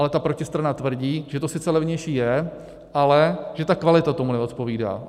Ale ta protistrana tvrdí, že to sice levnější je, ale že ta kvalita tomu neodpovídá.